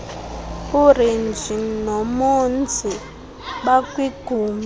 urenji nonomzi bakwigumbi